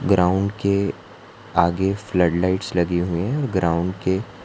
ground के आगे flood lights लगी हुई हैं ग्राउंड के --